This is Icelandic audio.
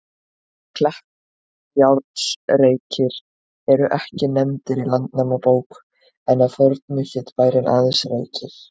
Kleppjárnsreykir eru ekki nefndir í Landnámabók, en að fornu hét bærinn aðeins Reykir.